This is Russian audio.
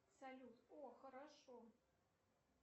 салют о хорошо